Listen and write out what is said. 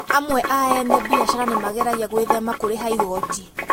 Amwe a ene biacara nĩ mageragia gwĩthema kũriha igoi